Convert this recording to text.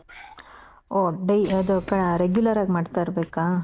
ಓ day ಅದು regular ಆಗಿ ಮಾಡ್ತಾ ಇರ್ಬೇಕಾ?